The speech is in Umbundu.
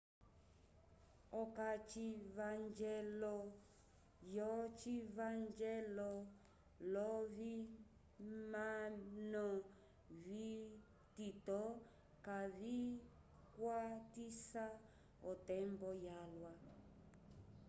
okacivanjelo yocivanjelo lovimano vitito kavicwatisa otembo yalwa